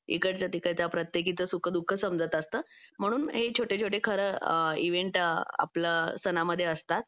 इकडच्या तिकडच्या प्रत्येकीचं सुखदुःख समजत असतं म्हणून हे छोटे छोटे खरं इव्हेंट आपल्या सणांमध्ये असतात